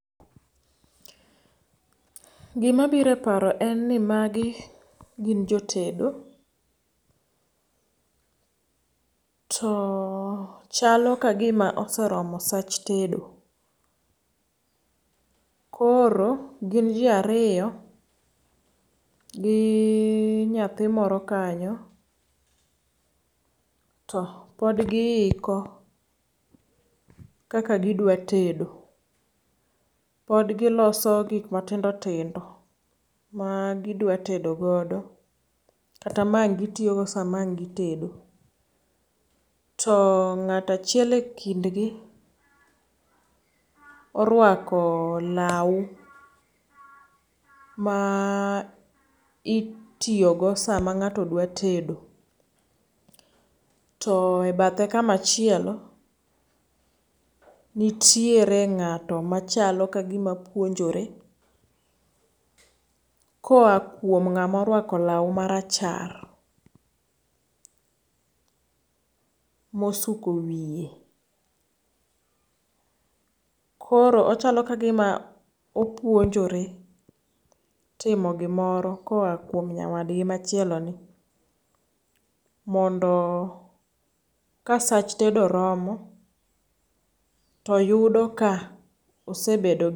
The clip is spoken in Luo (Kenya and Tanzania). Gi ma biro e paro en ni magi gin jotedo to chalo ka gi ma oseromo sach tedo koro gin ji ariyo gi nyathi moro kanyo to pod gi iko kaka gi dwa tedo, pod gi loso gik ma tindo tindo ma gi dwa tedo ,gi kata ma ang gi tiyo go saa ma ang gi tedo. To ngtao achiel e kind gi orwako law ma itiyo go saa ma ngato dwa tedo e bathe kama chielo nitiere ngato ma chalo ka gi ma puonjore kooa kuom ngama orwako law ma rachar ma osuko wiye. Koro ochalo ka gi ma opuonjore timo gi moro koaa kuom nyawadgi ma chielo ni mondo ka sach tedo romo to yudo ka osebedo gi.